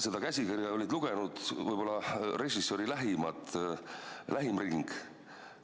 Seda käsikirja oli lugenud võib-olla režissööri lähim ring.